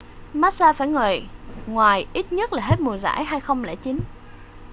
massa phải ngồi ngoài ít nhất là hết mùa giải 2009